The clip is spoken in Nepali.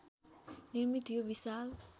निर्मित यो विशाल